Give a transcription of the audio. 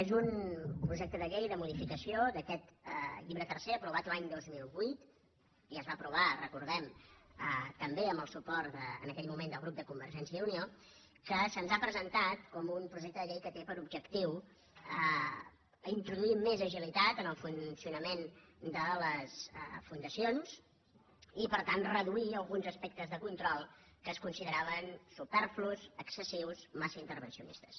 és un projecte de llei de modificació d’aquest llibre tercer aprovat l’any dos mil vuit i es va aprovar ho recor·dem també amb el suport en aquell moment del grup de convergència i unió que se’ns ha presen·tat com un projecte de llei que té per objectiu intro·duir més agilitat en el funcionament de les fundaci·ons i per tant reduir alguns aspectes de control que es consideraven superflus excessius massa interven·cionistes